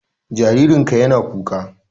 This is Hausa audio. Jaririn ka ya na kuka